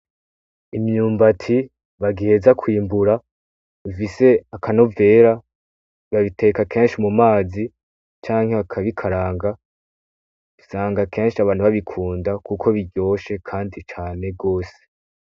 Imyumbati bagiheza kwimbura, bifise akanovera, babiteka kenshi mu mazi canke bakabikaranga, usanga kenshi abantu babikunda kuko biryoshe kandi cane gose.